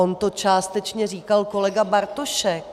On to částečně říkal kolega Bartošek.